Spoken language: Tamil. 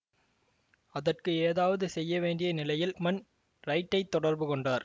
அதற்கு ஏதாவது செய்யவேண்டிய நிலையில் ப்மன் ரைட்டைத் தொடர்புகொண்டார்